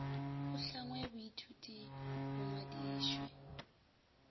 go hlangwe boithuti bo ngwadišwe